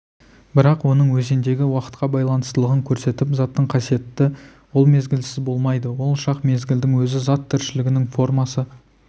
бірақ оның өзендегі уақытқа байланыстылығын көрсетіп заттың қасиеті ол мезгілсіз болмайды ол шақ мезгілдің өзі зат тіршілігінің формасы